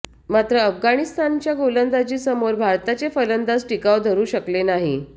मात्र अफगाणिस्तानच्या गोलंदाजीसमोर भारताचे फलंदाज टिकाव धरू शकले नाही